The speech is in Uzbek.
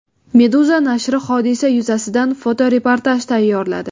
Meduza nashri hodisa yuzasidan fotoreportaj tayyorladi .